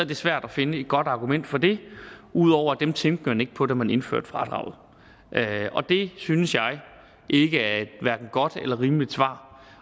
det svært at finde et godt argument for det ud over at dem tænkte man ikke på da man indførte fradraget og det synes jeg ikke er et godt eller rimeligt svar